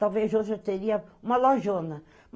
Talvez hoje eu teria uma lojona.